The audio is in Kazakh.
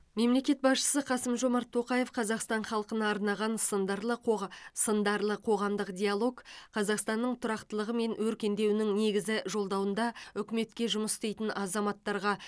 мемлекет басшысы қасым жомарт тоқаев қазақстан халқына арнаған сындарлы қоға сындарлы қоғамдық диалог қазақстанның тұрақтылығы мен өркендеуінің негізі жолдауында үкіметке жұмыс істейтін азаматтарға